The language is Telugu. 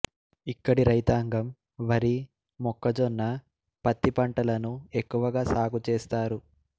ఇక్కడి రైతాంగం వరి మొక్కజొన్న పత్తి పంటలను ఎక్కువగా సాగు చేస్తారు